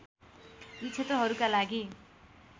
यी क्षेत्रहरूका लागि